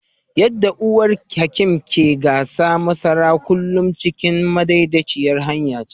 Yadda uwar Hakim ke gasa masara, kullum cikin madaidaicin hanya ce.